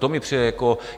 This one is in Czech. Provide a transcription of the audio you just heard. To mi přijde jako...